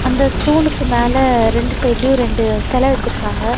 இந்த தூணுக்கு மேல ரெண்டு சைடுலயு ரெண்டு செல வெச்சுருக்காங்க.